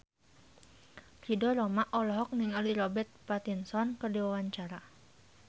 Ridho Roma olohok ningali Robert Pattinson keur diwawancara